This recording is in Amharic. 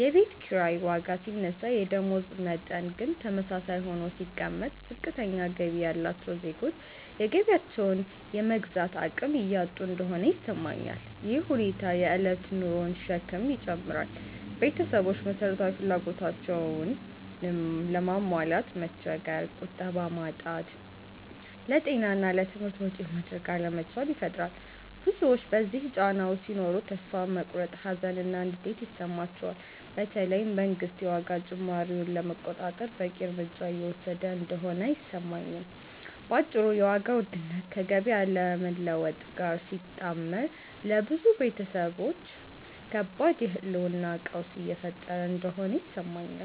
የቤት ኪራይ ዋጋ ሲነሳ የደመወዝ መጠን ግን ተመሳሳይ ሆኖ ሲቀመጥ፣ ዝቅተኛ ገቢ ያላቸው ዜጎች የገቢያቸውን የመግዛት አቅም እያጡ እንደሆነ ይሰማኛል። ይህ ሁኔታ የእለት ኑሮን ሸክም ይጨምራል – ቤተሰቦች መሰረታዊ ፍላጎቶቻቸውንም ለማሟላት መቸገር፣ ቁጠባ ማጣት፣ ለጤና እና ለትምህርት ወጪ ማድረግ አለመቻል ይፈጥራል። ብዙዎች በዚህ ጫና ውስጥ ሲኖሩ ተስፋ መቁረጥ፣ ሀዘን እና ንዴት ይሰማቸዋል፤ በተለይ መንግስት የዋጋ ጭማሪውን ለመቆጣጠር በቂ እርምጃ እየወሰደ እንደሆነ አይሰማኝም። በአጭሩ የዋጋ ውድነት ከገቢ አለመለወጥ ጋር ሲጣመር ለብዙ ቤተሰቦች ከባድ የህልውና ቀውስ እየፈጠረ እንደሆነ ይሰማኛል።